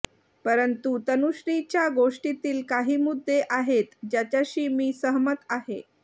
परंतु तनुश्रीच्या गोष्टीतील काही मुद्दे आहेत ज्याच्याशी मी सहमत आहे